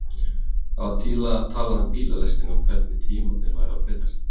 Það var talað um bílalestina og hvernig tímarnir væru að breytast.